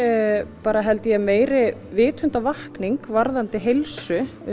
bara held ég meiri vitundarvakning varðandi heilsu